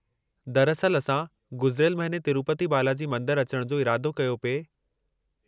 दरअसलि, असां गुज़िरियल महीने तिरूपति बालाजी मंदरु अचण जो इरादो कयो पिए।